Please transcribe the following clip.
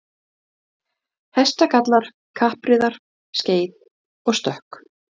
afhverju get ég ekki gert þetta